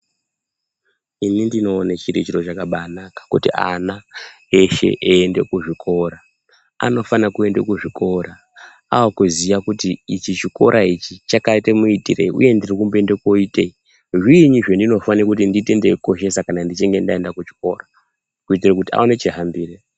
Inini ndinoona chiri chiro chakabaanaka kuti ana eshe eiende kuzvikora anofana kuenda kuzvikora akuziva kuti ichi chikora ichi chakaita muitirei uye ndiri kumboenda kunoitei, zviinyi zvendinofane kuti ndiite ndeikoshesa ndichinge ndaenda kuchikora kuitira kuti aone chihambire